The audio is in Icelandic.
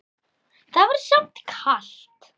Það var samt kalt